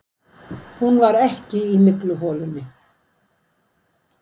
Hún var ekki í mygluholunni.